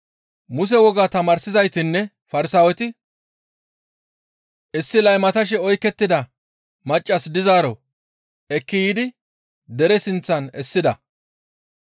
Muse wogaa tamaarsizaytinne Farsaaweti issi laymatashe oykettida maccas dizaaro ekki yiidi dere sinththan essida.